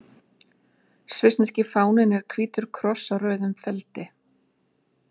Svissneski fáninn er hvítur kross á rauðum feldi.